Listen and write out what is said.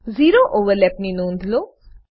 zero overlap ની નોધ લો